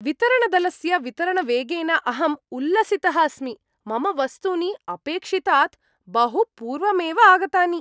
वितरणदलस्य वितरणवेगेन अहं उल्लसितः अस्मि। मम वस्तूनि अपेक्षितात् बहु पूर्वमेव आगतानि!